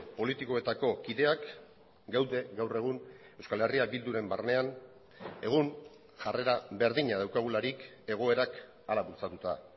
politikoetako kideak gaude gaur egun euskal herria bilduren barnean egun jarrera berdina daukagularik egoerak hala bultzatuta